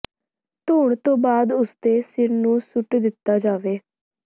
ਧੋਣ ਤੋਂ ਬਾਅਦ ਉਸਦੇ ਸਿਰ ਨੂੰ ਸੁੱਟ ਦਿੱਤਾ ਜਾਵੇ